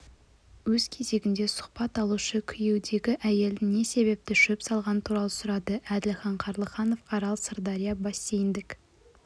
өз кезегінде сұхбат алушы күйеудегі әйелдің не себепті шөп салғаны туралы сұрады әділхан қарлыханов арал-сырдария бассейндік